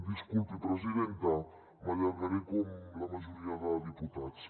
disculpi presidenta m’allargaré com la majoria de diputats